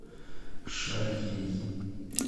шарьей